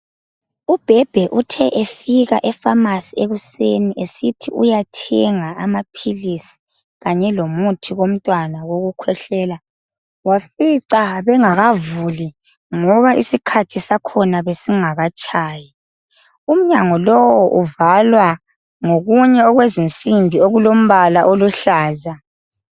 UBhebhe uthe efika epharmacy ekuseni esithi uyathenga amaphilisi kanye lomuthi womntwana wokukhwehlela wafica bengakavuli ngoba isikhathi sakhona besingakatshayi umnyango lowo uvalwa ngokunye okuzisimbi okulombala oluhlaza.